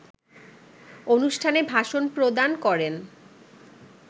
অনুষ্ঠানে ভাষণ প্রদান করেন